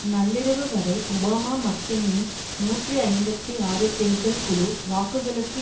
நள்ளிரவு வரை ஒபாமா மக்கெயினின் நூற்றி ஐம்பத்தி ஆறு தேர்தல் குழு வாக்குகளுக்கு